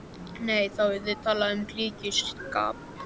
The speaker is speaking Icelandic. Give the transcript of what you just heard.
Nei, þá yrði talað um klíkuskap.